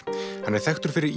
hann er þekktur fyrir